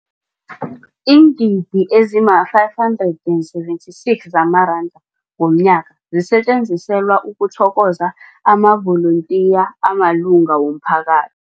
Iingidi ezima-576 zamaranda ngomnyaka zisetjenziselwa ukuthokoza amavolontiya amalunga womphaka